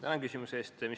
Tänan küsimuse eest!